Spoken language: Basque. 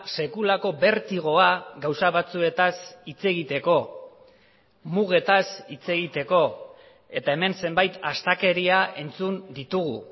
sekulako bertigoa gauza batzuetaz hitz egiteko mugetaz hitz egiteko eta hemen zenbait astakeria entzun ditugu